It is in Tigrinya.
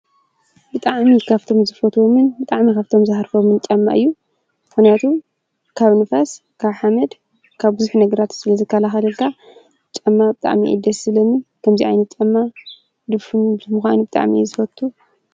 ብጣዓሚ ኻብቶም ዝፈትምን ብጣዕሚ ካብቶም ዝሃርፈምን ጨማ እዩ ።ካብ ንፋስ ካብ ሓመድ ካብ ጕዚኅ ነግራት ስለ ዝካልሃደጋ ጨማ ብጥኣሚኤደ ስለኒን ከምዚኣይን ብጠማ ድፍን ብምዃን ብጠኣሚየ ዝፈቱ።